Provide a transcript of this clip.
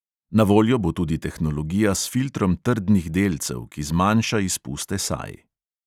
Na voljo bo tudi tehnologija s filtrom trdnih delcev, ki zmanjša izpuste saj.